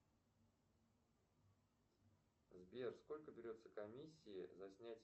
сбер сколько берется комиссия за снятие